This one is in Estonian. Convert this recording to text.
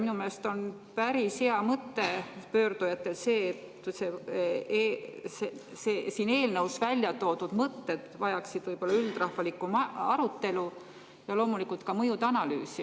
Minu meelest on see pöördujatel päris hea mõte, et siin eelnõus välja toodud mõtted vajaksid üldrahvalikku arutelu ja loomulikult ka mõjude analüüsi.